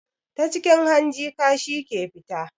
Ta cikin hanji kashi ke fita